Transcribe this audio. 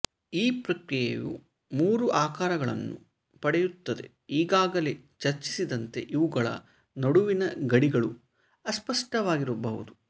ಈ ಪ್ರಕ್ರಿಯೆಯು ಮೂರು ಆಕಾರಗಳನ್ನು ಪಡೆಯುತ್ತದೆಈಗಾಗಲೇ ಚರ್ಚಿಸಿದಂತೆ ಇವುಗಳ ನಡುವಿನ ಗಡಿಗಳು ಅಸ್ಪಷ್ಟವಾಗಿರಬಹುದು